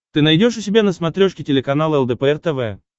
ты найдешь у себя на смотрешке телеканал лдпр тв